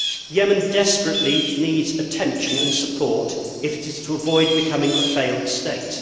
Yemen desperately needs attention and support if it is to avoid becoming a failed state.